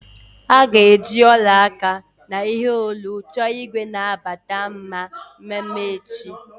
A ga-eji ọla aka na ihe olu chọọ igwe na-abata mma mmeme echi.